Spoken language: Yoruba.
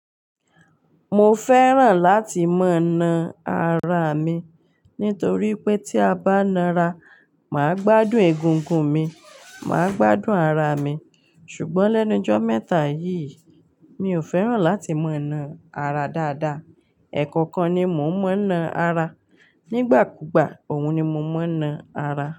Mo fẹ́ràn láti mọ̀ na ara mi nítorí pé tí a bá na ara, màá gbádùn egungun mi, màá gbádùn ara mi. Ṣùgbọ́n lẹ́nu jọ́ mẹ́ta yìí, mi ò fẹ́ràn láti mọ̀ na ara dáadáa. Ẹ̀kọ̀kan ni mò ń mọ̀ na ara. Nígbàkúùgbà òun ni mo ń mọ̀ na ara.